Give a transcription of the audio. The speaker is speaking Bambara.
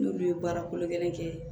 N'olu ye baara kolo gɛlɛn kɛ